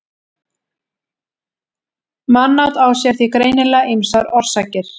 mannát á sér því greinilega ýmsar orsakir